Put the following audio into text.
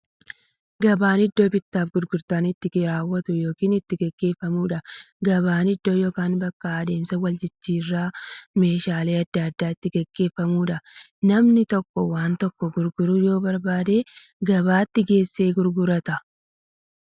Gabaan iddoo bittaaf gurgurtaan itti raawwatu yookiin itti gaggeeffamuudha. Gabaan iddoo yookiin bakka adeemsa waljijjiiraan meeshaalee adda addaa itti gaggeeffamuudha. Namni tokko waan tokko gurguruu yoo barbaade, gabaatti geessee gurgurata.